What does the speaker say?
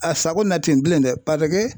A sago na ten bilen dɛ paseke